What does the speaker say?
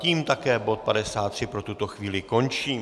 Tím také bod 53 pro tuto chvíli končím.